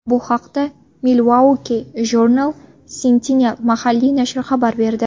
Bu haqda Milwaukee Journal Sentinel mahalliy nashri xabar berdi .